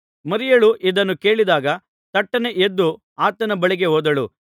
ಮರಿಯಳು ಇದನ್ನು ಕೇಳಿದಾಗ ತಟ್ಟನೆ ಎದ್ದು ಆತನ ಬಳಿಗೆ ಹೋದಳು